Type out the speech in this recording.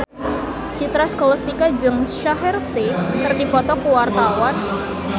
Citra Scholastika jeung Shaheer Sheikh keur dipoto ku wartawan